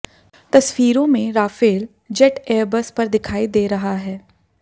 तस्वीरों में Rafale jet airbase पर दिखाई दे रहा है